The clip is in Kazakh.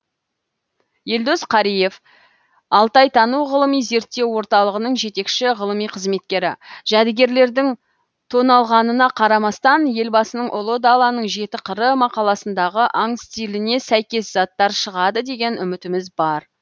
елдос қариев алтайтану ғылыми зерттеу орталығының жетекші ғылыми қызметкері жәдігерлердің тоналғанына қарамастан елбасының ұлы даланың жеті қыры мақаласындағы аң стиліне сәйкес заттар шығады деген үмітіміз бар